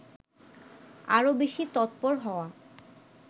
আরও বেশি তৎপর হওয়া